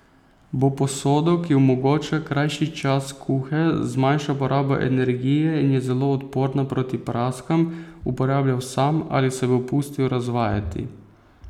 Bo posodo, ki omogoča krajši čas kuhe, zmanjša porabo energije in je zelo odporna proti praskam, uporabljal sam ali se bo pustil razvajati?